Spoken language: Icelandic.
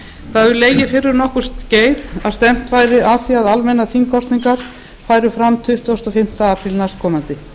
það hefur legið fyrir um nokkurt skeið að stefnt væri að því að almennar þingkosningar færu fram tuttugasta og fimmta apríl næstkomandi